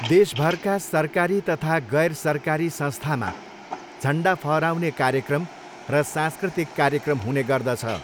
देशभरका सरकारी तथा गैरसरकारी संस्थामा झन्डा फहराउने कार्यक्रम र सांस्कृतिक कार्यक्रम हुने गर्दछ।